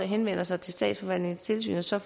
henvender sig til statsforvaltningens tilsyn og så